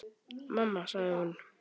Mamma sagði hún.